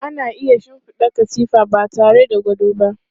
Ana iya shinfiɗa katifa ba tare da gado ba.